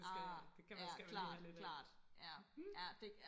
Ah ja klart klart ja ja det